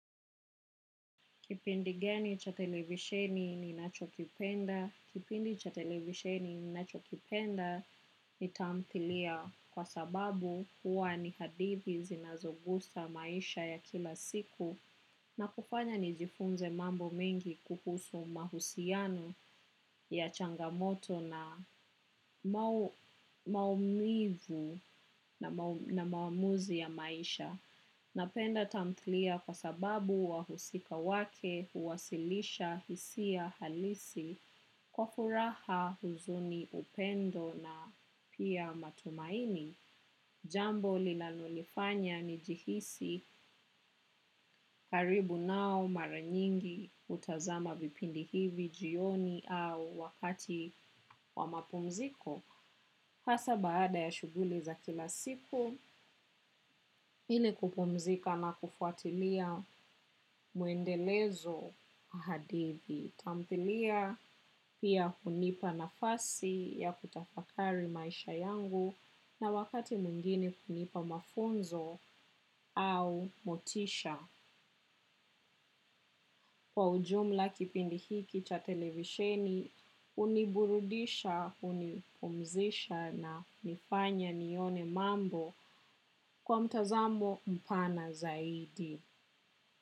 Kipindi gani cha televisheni ninacho kipenda? Kipindi cha televisheni ni nacho kipenda. Ni taamthilia kwa sababu, hua ni hadithi zinazogusa maisha ya kila siku na kufanya nijifunze mambo mengi kuhusu mahusiano ya changamoto na maumivu na maamuzi ya maisha. Napenda tamthlia kwa sababu wahusika wake huwasilisha hisia halisi, kwa furaha huzuni upendo na pia matumaini. Jambo linalonifanya ni jihisi karibu nao mara nyingi hutazama vipindi hivi jioni au wakati wa mapumziko. Hasa baada ya shughuli za kila siku. Ili kupumzika na kufuatilia muendelezo haadivi. Tamthilia pia hunipa nafasi ya kutafakari maisha yangu na wakati mwingine hunipa mafunzo au motisha. Kwa ujumla, kipindi hiki cha televisheni, uniburudisha, hunipumzisha na nifanya nione mambo. Kwa mtazamo mpana zaidi.